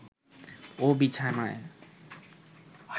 ও বিছানায়